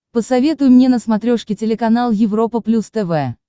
посоветуй мне на смотрешке телеканал европа плюс тв